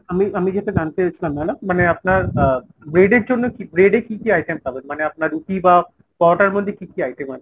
আমি আমি যেটা জানতে চাইছিলাম madam মানে আপনার আহ bread এর জন্য কী bread এর কী কী item পাবেন ? মানে রুটি বা পরোটার মধ্যে কী কী item আছে ?